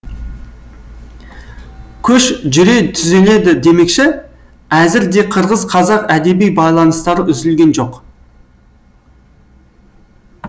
көш жүре түзеледі демекші әзір де қырғыз қазақ әдеби байланыстары үзілген жоқ